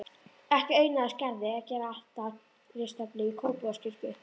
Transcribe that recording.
Ekki auðnaðist Gerði að gera altaristöflu í Kópavogskirkju.